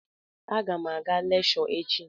A gam aga lekshọ echi.